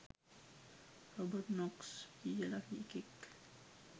Robert Knox කියල එකෙක්